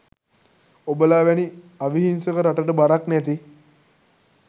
ඔබලා වැනි අවිහිංසක රටට බරක් නැති